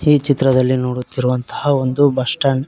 ಈ ಚಿತ್ರದಲ್ಲಿ ನೋಡುತ್ತಿರುವಂತಹ ಒಂದು ಬಸ್ ಸ್ಟ್ಯಾಂಡ್ .